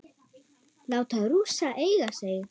Láta Rússa eiga sig?